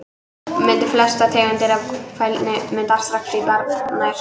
Myndun Flestar tegundir af fælni myndast strax í barnæsku.